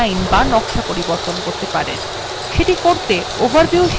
এটি করতে overview শিরোনামযুক্ত slide যান